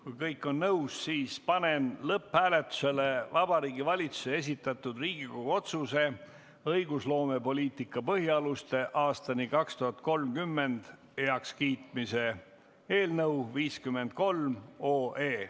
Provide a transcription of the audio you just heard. Kui kõik on nõus, siis panen lõpphääletusele Vabariigi Valitsuse esitatud Riigikogu otsuse "„Õigusloomepoliitika põhialused aastani 2030“ heakskiitmine" eelnõu 53.